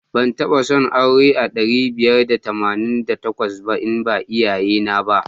Ban taba son auren a ɗari biyar da tamanin da takwas ba in ba iyayena ba.